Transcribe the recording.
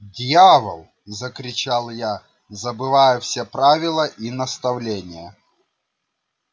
дьявол закричал я забывая все правила и наставления